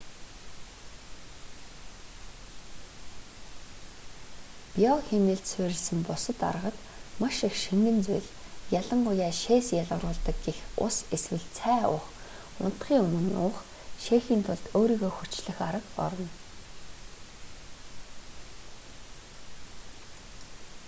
био хэмнэлд суурилсан бусад аргад маш их шингэн зүйл ялангуяа шээс ялгаруулдаг гэх ус эсвэл цай уух унтахын өмнө уух шээхийн тулд өөрийгөө хүчлэх арга орно